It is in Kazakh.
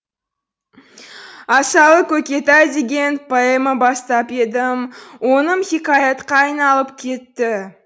асалы көкетай деген поэма бастап едім оным хикаятқа айналып кетті